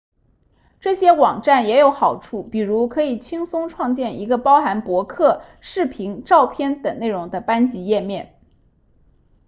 这些网站也有好处比如可以轻松创建一个包含博客视频照片等内容的班级页面